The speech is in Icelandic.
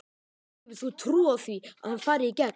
Hefur þú trú á því að hann fari í gegn?